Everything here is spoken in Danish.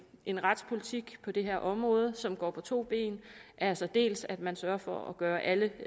en retspolitik på det her område som går på to ben altså dels at man sørger for at gøre alle